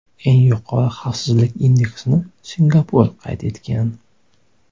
Eng yuqori xavfsizlik indeksini Singapur qayd etgan.